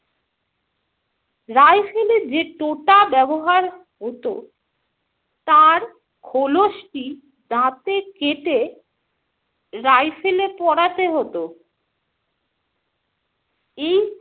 Rifle এ যে টোটা ব্যবহার হতো তার খোলসটি দাঁতে কেটে rifle এ পরাতে হতো। এই